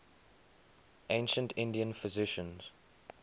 ancient indian physicians